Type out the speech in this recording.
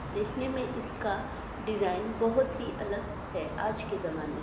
देखने में इसका डिज़ाइन बहुत ही अलग हैं आज के जमा--